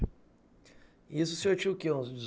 E esse senhor tinha o quê, uns